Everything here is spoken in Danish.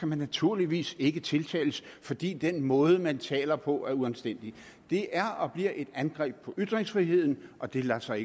man naturligvis ikke tiltales fordi den måde man taler på er uanstændig det er og bliver et angreb på ytringsfriheden og det lader sig